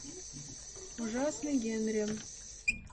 ужасный генри